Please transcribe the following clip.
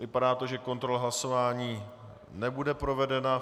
Vypadá to, že kontrola hlasování nebude provedena.